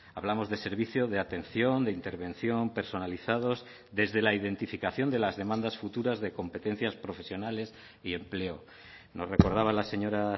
hablamos de servicio de atención de intervención personalizados desde la identificación de las demandas futuras de competencias profesionales y empleo nos recordaba la señora